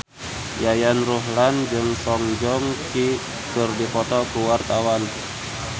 Yayan Ruhlan jeung Song Joong Ki keur dipoto ku wartawan